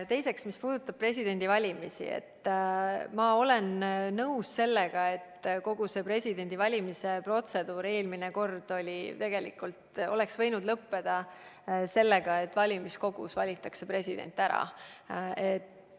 Teiseks, mis puudutab presidendivalimisi, siis ma olen nõus sellega, et kogu see presidendi valimise protseduur eelmine kord oleks võinud lõppeda sellega, et valimiskogus valitakse president ära.